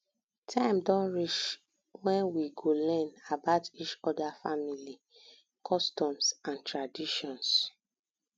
time don reach wen we go learn about each oda family customs and traditions